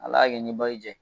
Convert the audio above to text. Ala i nin bayi jɛ.